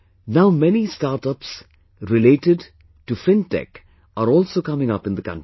Now many new startups related to Fintech are also coming up in the country